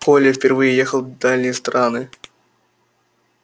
коля впервые ехал в дальние страны